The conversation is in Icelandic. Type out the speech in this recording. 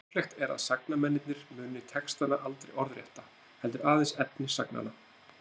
Líklegt er að sagnamennirnir muni textana aldrei orðrétta, heldur aðeins efni sagnanna.